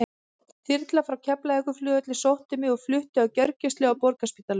Þyrla frá Keflavíkurflugvelli sótti mig og flutti á gjörgæslu á Borgarspítalanum.